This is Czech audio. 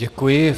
Děkuji.